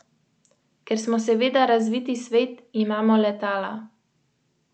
In se tako kdaj zgodi, kot se je letos, da ga je klicala gospa iz ljubljanskih Most, ki je naštela kar štirinajst kač.